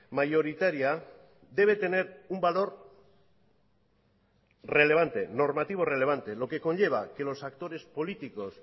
mayoritaria debe tener un valor relevante normativo relevante lo que conlleva que los actores políticos